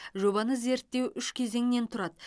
жобаны зерттеу үш кезеңнен тұрады